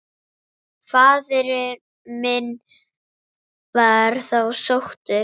Faðir minn var þá sóttur.